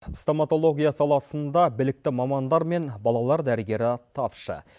стамотология саласында білікті мамандар мен балалар дәрігері тапшы